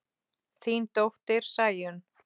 Þín dóttir, Sæunn.